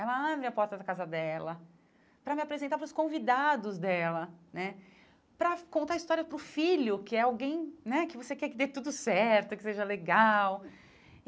Ela abre a porta da casa dela, para me apresentar para os convidados dela né, para contar a história para o filho, que é alguém né que você quer que dê tudo certo, que seja legal.